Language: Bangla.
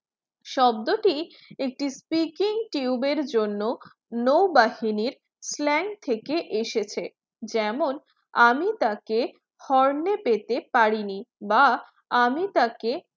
শব্দটি একটি freaking tube জন্য নৌবাহিনীর flank থেকে এসেছে যেমন আমি তাকে horn পেতে পারিনি বা আমি তাকে